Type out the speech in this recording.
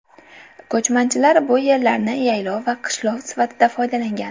Ko‘chmanchilar bu yerlarni yaylov va qishlov sifatida foydalangan.